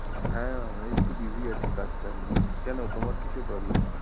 হ্যাঁ, ঐ একটু busy আছি কাজ টাজ নিয়ে, কেন তোমার কিসের problem?